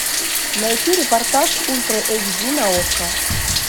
найти репортаж ультра эйч ди на окко